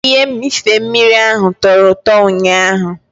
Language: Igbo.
Ihe mmịfe mmiri ahụ tọro ụtọ ụnyaahụ.